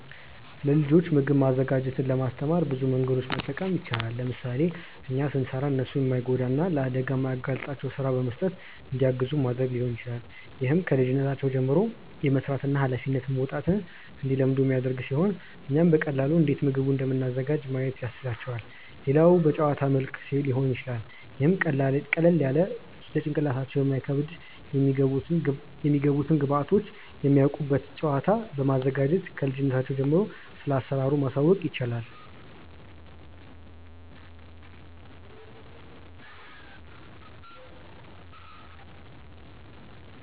ለልጆች ምግብ ማዘጋጀትን ለማስተማር ብዙ መንገዶችን መጠቀም ይቻላል። ለምሳሌ እኛ ስንሰራ እነርሱን የማይጎዳቸውን እና ለአደጋ የማያጋልጣቸውን ስራ በመስጠት እንዲያግዙን ማድረግ ሊሆን ይችላል። ይህም ከልጅነታቸው ጀምሮ የመስራትን እና ሃላፊነት መወጣትን እንዲለምዱ የሚያደርግ ሲሆን እኛም በቀላሉ እንዴት ምግቡን እንደምናዘጋጅ ማየት ያስችላቸዋል። ሌላው በጨዋታ መልክ ሊሆን ይችላል ይህም ቀለል ያለ ለጭንቅላታቸው የማይከብድ የሚገቡትን ግብዐቶች የሚያውቁበት ጨዋታ በማዘጋጀት ክልጅነታቸው ጀምሮ ስለአሰራሩ ማሳወቅ ይቻላል።